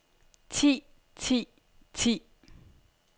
ti ti ti